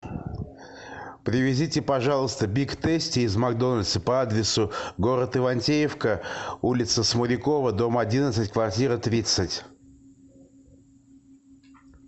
привезите пожалуйста биг тейсти из макдональдса по адресу город ивантеевка улица смолякова дом одиннадцать квартира тридцать